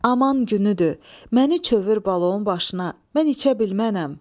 Aman günüdür, məni çövür balonu başına, mən içə bilmənəm.